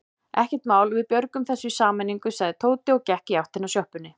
Ekkert mál, við björgum þessu í sameiningu sagði Tóti og gekk í áttina að sjoppunni.